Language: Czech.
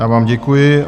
Já vám děkuji.